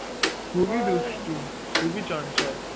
খুবই চঞ্চল